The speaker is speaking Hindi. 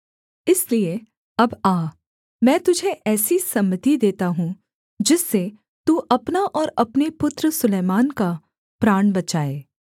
इसलिए अब आ मैं तुझे ऐसी सम्मति देता हूँ जिससे तू अपना और अपने पुत्र सुलैमान का प्राण बचाए